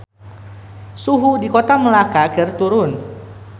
Suhu di Kota Melaka keur turun